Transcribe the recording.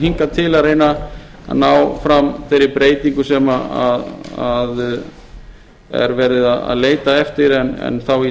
hingað til að reyna að ná fram þeirri breytingu sem er verið að leita eftir en þá í